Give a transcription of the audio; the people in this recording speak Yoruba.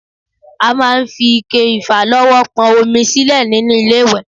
A máa ń fi ike ìfàlọ́wọ́ pọn omi sílẹ̀ nínú ilé-ìwẹ̀